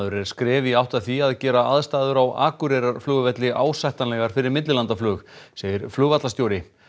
er skref í átt að því að gera aðstæður á Akureyrarflugvelli ásættanlegar fyrir millilandaflug segir flugvallarstjóri